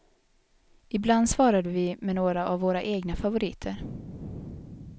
Ibland svarade vi med några av våra egna favoriter.